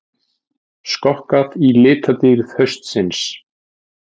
Skokkað í litadýrð haustsins